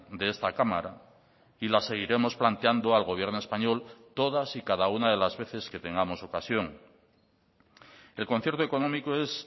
de esta cámara y la seguiremos planteando al gobierno español todas y cada una de las veces que tengamos ocasión el concierto económico es